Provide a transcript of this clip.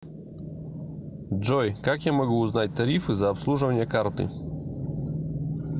джой как я могу узнать тарифы за обслуживание карты